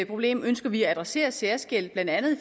problem ønsker vi at adressere særskilt blandt andet i